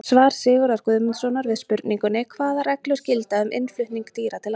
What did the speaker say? Svar Sigurðar Guðmundssonar við spurningunni Hvaða reglur gilda um innflutning dýra til landsins?